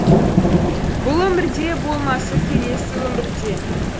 бұл өмірде болмаса келесі өмірде